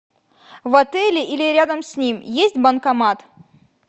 в отеле или рядом с ним есть банкомат